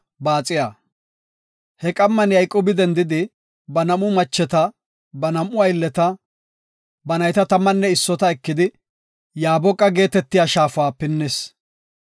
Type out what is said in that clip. He qamma Yayqoobi dendidi, ba nam7u macheta, ba nam7u aylleta, ba nayta tammanne issota ekidi, Yaaboqa shaafa pinnis.